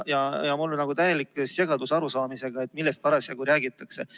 Mul on täielik segadus arusaamisega, millest parasjagu räägitakse.